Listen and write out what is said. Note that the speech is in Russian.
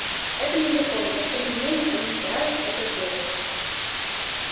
это незаконно но тем не менее они стараются это сделать